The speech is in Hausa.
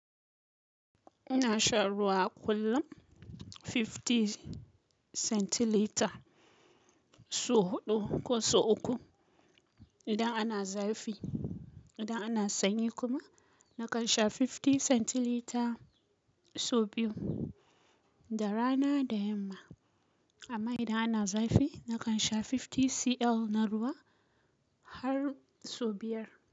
Ina shan ruwa kullum fifty centilitre sau huɗu ko sau uku. Idan ana zafi, idan ana sanyi kuma nakan sha fifty centilitre sau biyu. Da rana da yamma. Amma idan ana zafi nakan sha fifty cl na ruwa har sau biyar.